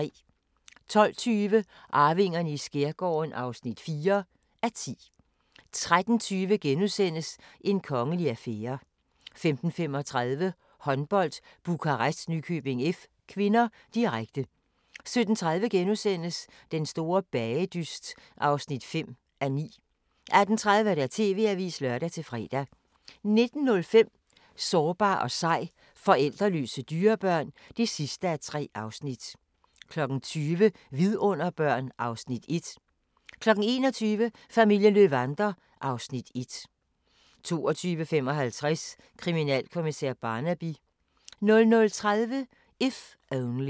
12:20: Arvingerne i skærgården (4:10) 13:20: En kongelig affære * 15:35: Håndbold: Bukarest-Nykøbing F. (k), direkte 17:30: Den store bagedyst (5:9)* 18:30: TV-avisen (lør-fre) 19:05: Sårbar og sej – forældreløse dyrebørn (3:3) 20:00: Vidunderbørn (Afs. 1) 21:00: Familien Löwander (Afs. 1) 22:55: Kriminalkommissær Barnaby 00:30: If Only